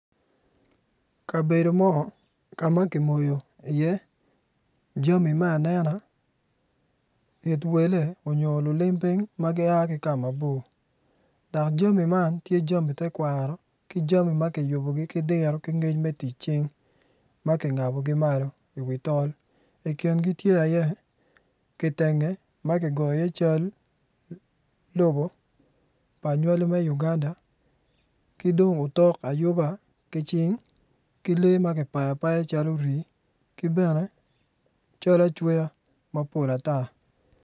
Kabedo mo ka ma ki moyo iye jami ma anena it wele nyo lulim piny ma gia ki kama bor dok jami man tye jami me tekwaro ki diru ki jami me tic cing ma ki ngabogi malo i wi tol i kingi tye kitenge ma ki goyo iye cal lobo pa anywali me lobo Uganda ki dong otok ayuba ki cing ki lee ma ki bayo abaya calo rii ki bene cal acweya mapol ata